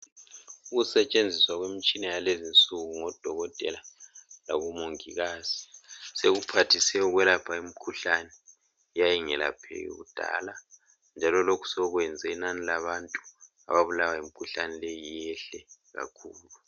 Ukusetshenziswa kwemitshina yakulezinsuku ngodokotela labomongikazi sekuphathise ukwelapha imikhuhlane eyayingelapheki kudala njalo lokhu sokwenze inani labantu ababulawa yimikhuhlane leyi liyehle kakhulu